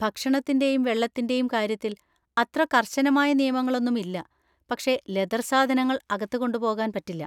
ഭക്ഷണത്തിൻ്റെയും വെള്ളത്തിൻ്റെയും കാര്യത്തിൽ അത്ര കർശനമായ നിയമങ്ങളൊന്നും ഇല്ല, പക്ഷെ ലെതർ സാധനങ്ങൾ അകത്ത് കൊണ്ടുപോകാൻ പറ്റില്ല.